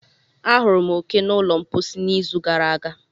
Ahụrụ m oke n'ụlọ mposi n'izu gara aga.